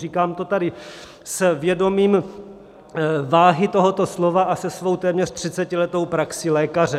Říkám to tady s vědomím váhy tohoto slova a se svou téměř 30letou praxí lékaře.